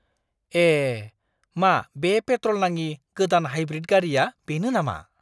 ए! मा बे पेट्र'ल नाङि गोदान हाइब्रिड गारिया बेनो नामा?